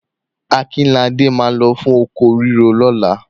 Akọ́ládé máa lọ fún oko ríro lọ́la.